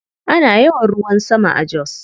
Ana yawan ruwan sama a Jos.